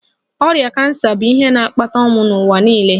Ọrịa kansa bụ ihe na-akpata ọnwụ n'ụwa niile.